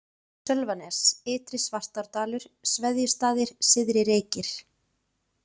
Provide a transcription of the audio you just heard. Sölvanes, Ytri-Svartárdalur, Sveðjustaðir, Syðri-Reykir